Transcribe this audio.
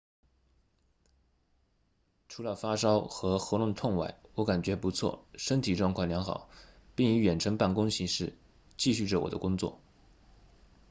除了发烧和喉咙痛外我感觉不错身体状况良好并以远程办公形式继续着我的工作